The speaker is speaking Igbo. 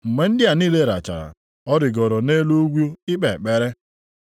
Mgbe ndị a niile lachara, ọ rigooro nʼelu ugwu ikpe ekpere.